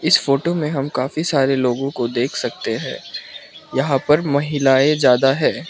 इस फोटो में हम काफी सारे लोगों को देख सकते हैं यहां पर महिलाएं ज्यादा है।